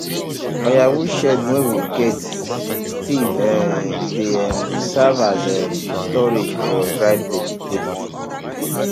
firewood shed wey we get still um dey um serve as um storage for dried vegetable